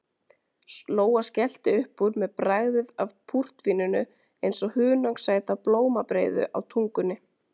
Lóa skellti upp úr með bragðið af púrtvíninu eins og hunangssæta blómabreiðu á tungunni.